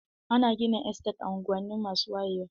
Ana gina Estate a unguwanni masu wayewa.